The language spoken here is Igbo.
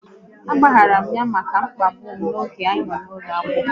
A gbaghara m ya maka ịkpagbu m oge anyị nọ n'ụlọ akwụkwọ